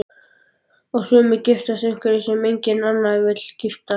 Og sumir giftast einhverjum sem enginn annar vill giftast.